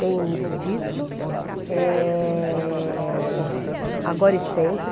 Tem título, eh... Agora e Sempre.